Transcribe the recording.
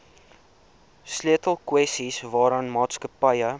sleutelkwessies waaraan maatskappye